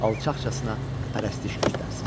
Alçaqcasına pərəstiş göstərsin.